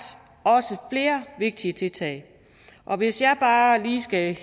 flere vigtige tiltag og hvis jeg bare lige skal